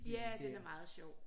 Ja den er meget sjov